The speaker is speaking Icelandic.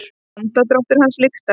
Andardráttur hans lyktar.